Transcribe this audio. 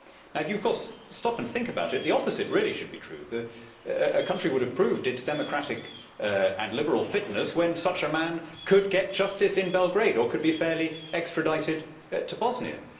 If you stop and think about it, the opposite really should be true a country would have proved its democratic and liberal fitness when such a man could get justice in Belgrade or could be fairly extradited to Bosnia.